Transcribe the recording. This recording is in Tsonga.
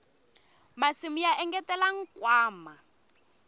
masimu ya engetela nkwama